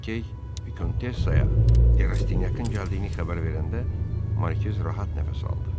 Lakey Vikontessaya Derastinyakın gəldiyini xəbər verəndə Markiz rahat nəfəs aldı.